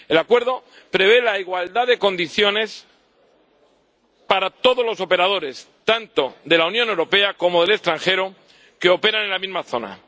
El Acuerdo prevé la igualdad de condiciones para todos los operadores, tanto de la Unión Europea como del extranjero, que operan en la misma zona.